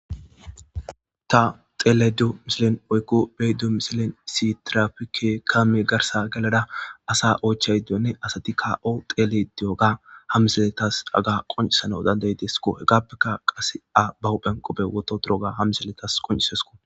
Ta xelaydo misilen woyko betto misilen issi tirapikey kamee garsa gelada asa oychaydenne asati a xelidi de'iyoga ha misiley ta qonc'isanaw dana'idesko. Hegappeka a ba huphen qope wotha ittadusko